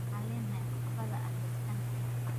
Waxaan leenahay caqabada ah helitaanka cuntada.